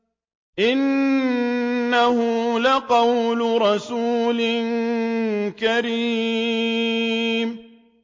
إِنَّهُ لَقَوْلُ رَسُولٍ كَرِيمٍ